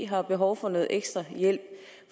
har behov for noget ekstra hjælp